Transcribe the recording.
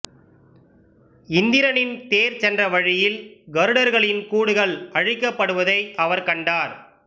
இந்திரனின் தேர் சென்ற வழியில் கருடர்களின் கூடுகள் அழிக்கப்படுவதை அவர் கண்டார்